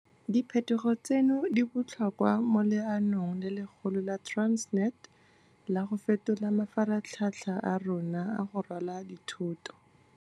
Diphetogo tseno di botlhokwa mo leanong le legolo la Transnet la go fetola mafaratlhatlha a rona a go rwala dithoto.